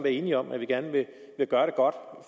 enige om at vi gerne vil gøre det godt